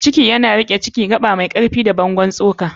ciki yana riƙe Ciki: Gaba mai ƙarfi da bangon tsoka.